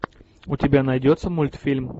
у тебя найдется мультфильм